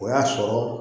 O y'a sɔrɔ